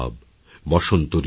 বসন্ত ঋতুরাজ